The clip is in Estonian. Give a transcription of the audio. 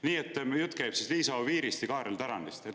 Nii et jutt käib siis Liisa Oviirist ja Kaarel Tarandist.